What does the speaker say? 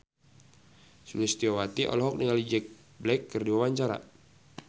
Sulistyowati olohok ningali Jack Black keur diwawancara